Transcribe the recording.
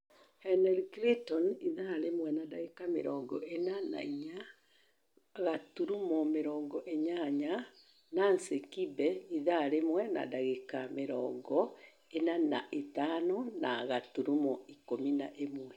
Henry clinton ( ithaa rĩmwe na dagĩka mĩrongo ĩna na inya gaturumo mĩrongo inyanya), Nancy kibe ( ithaa rĩmwe na dagĩka mĩrongo ĩna na ithano na gaturumo ikũmi na ĩmwe